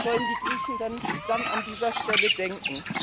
Was sollen die Griechen denn an dieser Stelle denken?